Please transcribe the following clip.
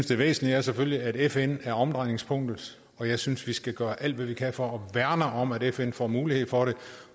det væsentlige selvfølgelig er at fn er omdrejningspunktet og jeg synes vi skal gøre alt hvad vi kan for at værne om at fn får mulighed for det